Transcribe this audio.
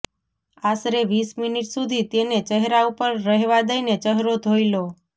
આસરે વીસ મિનિટ સુધી તેને ચહેરા ઉપર રહેવા દઇને ચહેરો ધોઇ લો